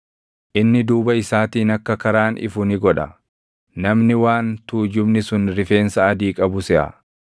Inni duuba isaatiin akka karaan ifu ni godha; namni waan tuujubni sun rifeensa adii qabu seʼa.